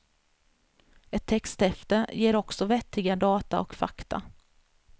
Ett texthäfte ger också vettiga data och fakta.